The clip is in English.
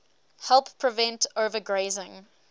help prevent overgrazing